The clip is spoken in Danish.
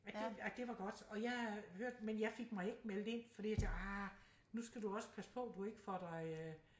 At det at det var godt og jeg hørte men jeg fik mig ikke meldt ind fordi jeg tænkte ah nu skal du også passe på du ikke får dig øh